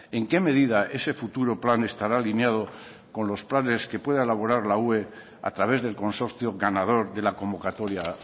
en qué medida ese futuro plan estará alineado con los planes que pueda elaborar la ue a través del consorcio ganador de la convocatoria